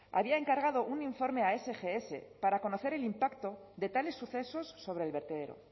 había encargado un informe a sgs para conocer el impacto de tales sucesos sobre el vertedero